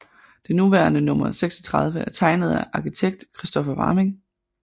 Det nuværende nr 36 er tegnet af arkitekt Kristoffer Varming